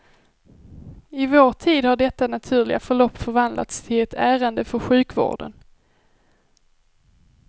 I vår tid har detta naturliga förlopp förvandlats till ett ärende för sjukvården.